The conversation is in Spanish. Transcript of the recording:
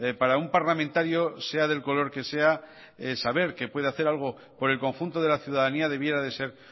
para un parlamentario sea del color que sea saber que puede hacer algo por el conjunto de la ciudadanía debiera de ser